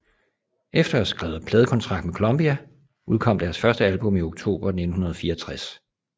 Efter at have skrevet pladekontrakt med Columbia udkom deres første album i oktober 1964